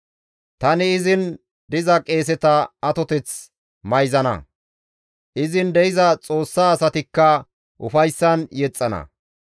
Tani izin diza qeeseta atoteth mayzana; izin de7iza Xoossa asatikka ufayssan yexxana.